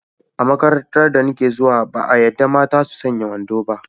A makarantar da nake zuwa, ba a yadda mata su sanya wando ba.